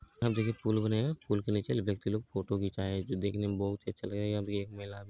पुल्ल बनेगा पुल के नीचे के लोग फोटो खिचाए जो देखने में बहुत ही अच्छा लगेगा अब ये एक मेला भी--